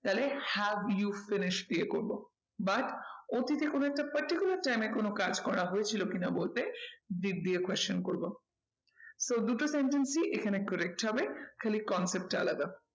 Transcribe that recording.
তাহলে have you finished দিয়ে করবো। but অতীতে একটা particular time এ কোনো কাজ করা হয়েছিল কি না বলতে did দিয়ে question করবো। তো দুটো sentence ই এখানে correct হবে খালি concept টা আলাদা।